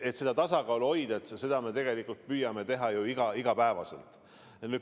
Me püüame hoida seda tasakaalu ja teeme seda iga päev.